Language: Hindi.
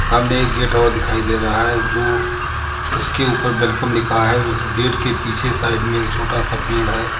सामने एक गेट और दिखाई दे रहा है जो उसके ऊपर वेलकम लिखा है उस गेट के पीछे साइड में एक छोटा सा पेड़ है।